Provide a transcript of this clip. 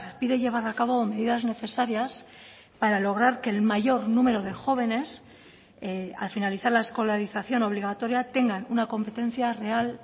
pide llevar a cabo medidas necesarias para lograr que el mayor número de jóvenes al finalizar la escolarización obligatoria tengan una competencia real